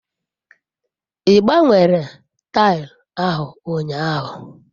I gbanwere taili ahu unyahu?